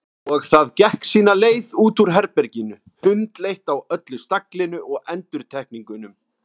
Og það gekk sína leið út úr herberginu, hundleitt á öllu staglinu og endurtekningunum.